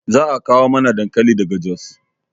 Za a kawo mana dankali daga jos